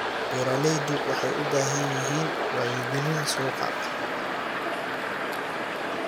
Beeraleydu waxay u baahan yihiin wacyigelin suuqa.